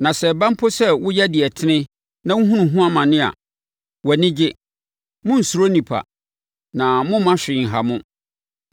Na sɛ ɛba mpo sɛ woyɛ deɛ ɛtene na wohunu ho amane a, wʼani gye. Monnsuro nnipa, na mommma hwee nha mo.